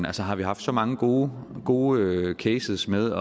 altså har vi haft så mange gode gode cases med